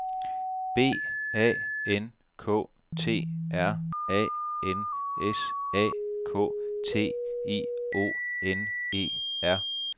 B A N K T R A N S A K T I O N E R